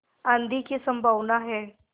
आँधी की संभावना है